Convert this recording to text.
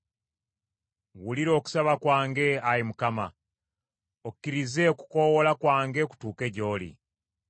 Wulira okusaba kwange, Ayi Mukama , okkirize okukoowoola kwange kutuuke gy’oli.